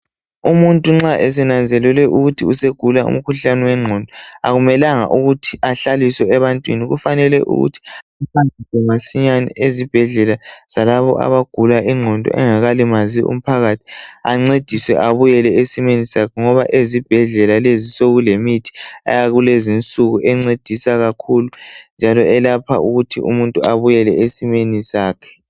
Umuntu nxa esenanzelelwe ukuthi usegula umkhuhlane wengqondo. Akumelanga ukuthi ahlaliswe ebantwini. Kufanele ukuthi ahanjiswe masinyane ezibhedlela zalabo abagula ingqondo. Engakalimazi umphakathi. Ancediswe, abuyele esimeni sakhe. Ngoba ezibhedlela lezi sekulemithi eyakulezi insuku, encedisa kakhulu, njalo eyelapha ukuthi umuntu abuyele esimeni sakhe.